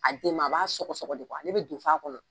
A den ma a b'a sɔgɔ ale bɛ don fɔ a kɔnɔ.